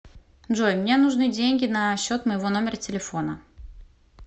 джой мне нужны деньги на счет моего номера телефона